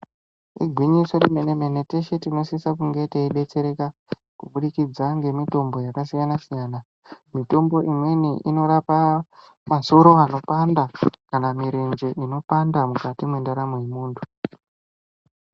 Igwinyiso remene mene tese tinosisa kunge teibetsereka kubudikidza nemitombo yakasiyana siyana mitombo imweni inorapa masoro anopanda kana mirenje inopanda mukati mendaramo yemuntu.